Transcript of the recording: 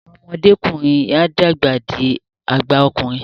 Awọn ọmọdekunrin o dàgbà dì àgbà okùnrin